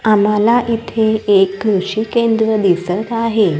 आम्हाला इथे एक कृषी केंद्र दिसत आहे.